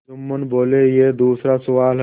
जुम्मन बोलेयह दूसरा सवाल है